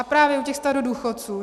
A právě u těch starodůchodců.